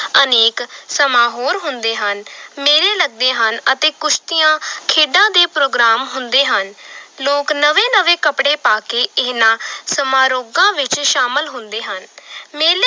ਅਨੇਕ ਸਮਾਂ ਹੋਰ ਹੁੰਦੇ ਹਨ ਮੇਲੇ ਲੱਗਦੇ ਹਨ ਅਤੇੇ ਕੁਸ਼ਤੀਆਂ ਖੇਡਾਂ ਦੇ ਪ੍ਰੋਗਰਾਮ ਹੁੰਦੇ ਹਨ ਲੋਕ ਨਵੇਂ ਨਵੇਂ ਕੱਪੜੇ ਪਾ ਕੇ ਇਹਨਾਂ ਸਮਾਰੋਗਾਂ ਵਿੱਚ ਸ਼ਾਮਿਲ ਹੁੰਦੇ ਹਨ ਮੇਲੇ